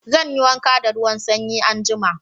Zan yi wanka da ruwan sanyi anjima.